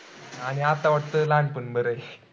आणि आता वाटत लहानपण बरंय.